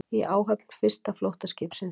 Í áhöfn fyrsta flóttaskipsins